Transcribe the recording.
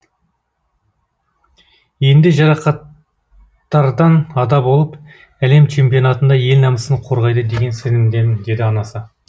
енді жарақаттардан ада болып әлем чемпионатында ел намысын қорғайды деген сенімдемін деді анасы